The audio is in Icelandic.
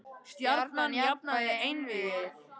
Stjarnan jafnaði einvígið